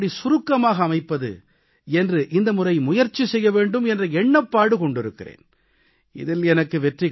ஆனால் எனது உரையை எப்படி சுருக்கமாக அமைப்பது என்று இந்த முறை முயற்சி செய்ய வேண்டும் என்ற எண்ணப்பாடு கொண்டிருக்கிறேன்